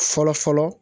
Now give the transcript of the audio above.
Fɔlɔ fɔlɔ